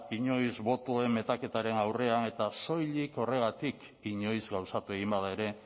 inoiz botoen metaketaren aurrean eta soilik horregatik inoiz gauzatu egin bada ere